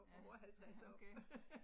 Ja, okay